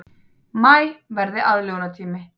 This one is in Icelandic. Maí verði aðlögunartími